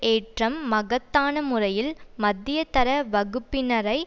ஏற்றம் மகத்தான முறையில் மத்தியதர வகுப்பினரை